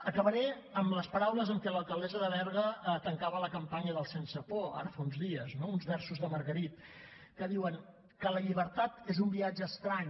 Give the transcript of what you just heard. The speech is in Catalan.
acabaré amb les paraules amb què l’alcaldessa de berga tancava la campanya del sense por ara fa uns dies no uns versos de margarit que diuen que la llibertat és un viatge estrany